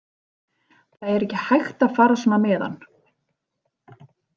Það er ekki hægt að fara svona með hann.